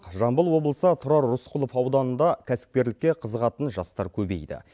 жамбыл облысы тұрар рысқұлов ауданында кәсіпкерлікке қызығатын жастар көбейді